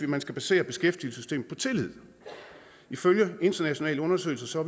man skal basere beskæftigelsessystemet på tillid ifølge internationale undersøgelser